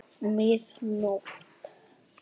Mið nótt!